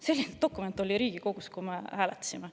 " Selline dokument oli Riigikogus, kui me hääletasime.